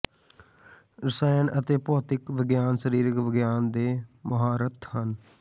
ਰਸਾਇਣ ਅਤੇ ਭੌਤਿਕ ਵਿਗਿਆਨ ਸਰੀਰਕ ਵਿਗਿਆਨ ਦੇ ਮੁਹਾਰਤ ਹਨ